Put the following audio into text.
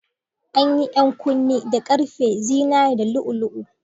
An yi 'yan kunne da ƙarfe, zinariya, da lu'u-lu'u.